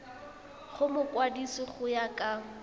go mokwadise go ya ka